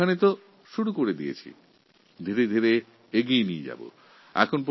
তাদের জন্যও এই ব্যবস্থা শুরু করা হয়েছে এবং এটা ধীরে ধীরে এগিয়ে নিয়ে যাওয়া হবে